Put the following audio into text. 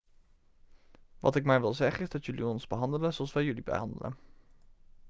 wat ik maar wil zeggen is dat jullie ons behandelen zoals wij jullie behandelen